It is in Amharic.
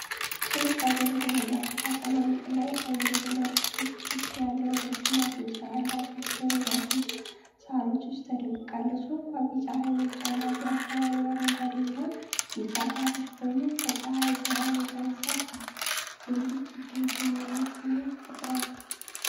ጥንቃቄ በተሞላበት አቀማመጥ፣ ቀይ አንገትና ጥቁር ክንፍ ያላት ረጅም አፍንጫ ያላት ወፍ በረጃጅም ሳሮች ውስጥ ተደብቃለች። ወፏ ቢጫ ዓይኖች አሏት፤ የአካባቢው አረንጓዴና ቢጫ ሳሮች ደግሞ ከፀሐይ ብርሃን የተነሳ ብልጭ ድርግም የሚል ስሜት ይፈጥራሉ።